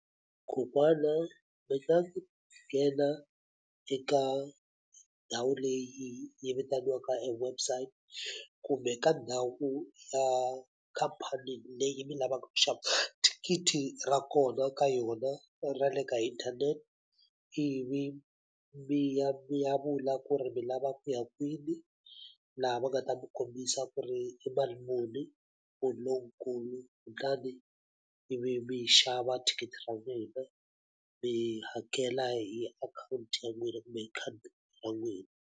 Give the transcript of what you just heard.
Kokwana mi nga nghena eka ndhawu leyi yi vitaniwaka e website, kumbe ka ndhawu ya khampani leyi mi lavaka ku xava thikithi ra kona ka yona ra le ka inthanete. Ivi mi ya mi ya vula ku ri mi lava ku ya kwini, laha va nga ta mi kombisa ku ri i mali muni for lonkulu. Kutani ivi mi ri xava thikithi ra n'wina, mi hakela hi akhawunti ya n'wina kumbe hi khadi ra n'wina.